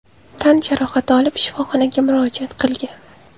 tan jarohati olib, shifoxonaga murojaat qilgan.